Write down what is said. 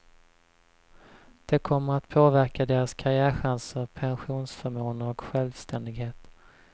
Det kommer att påverka deras karriärchanser, pensionsförmåner och självständighet.